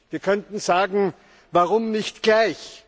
Wir könnten sagen, warum nicht gleich?